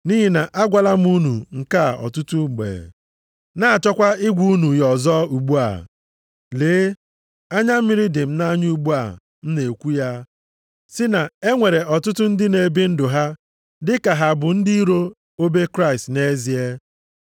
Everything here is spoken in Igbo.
Nʼihi na agwala m unu nke a ọtụtụ mgbe, na-achọkwa ịgwa unu ya ọzọ ugbu a. Lee, anya mmiri dị m nʼanya ugbu a m na-ekwu ya sị na e nwere ọtụtụ ndị na-ebi ndụ ha dị ka ha bụ ndị iro obe Kraịst nʼezie.